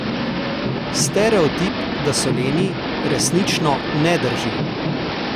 Stereotip, da so leni, resnično ne drži.